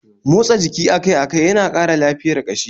Motsa jiki akai-akai yana kara lafiyar kashi